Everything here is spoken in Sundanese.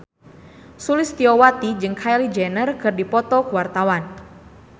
Sulistyowati jeung Kylie Jenner keur dipoto ku wartawan